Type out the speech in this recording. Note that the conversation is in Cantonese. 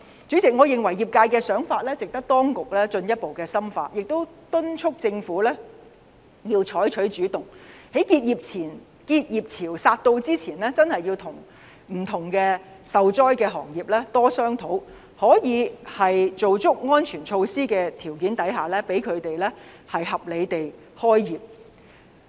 主席，我認為業界的想法值得當局進一步深入考慮，亦敦促政府要採取主動，在結業潮來臨前跟不同受災行業多商討，可以在做足安全措施的條件下，讓他們合理地開業。